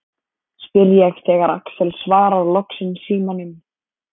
spyr ég þegar Axel svarar loksins símanum.